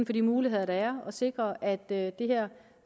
for de muligheder der at sikre at det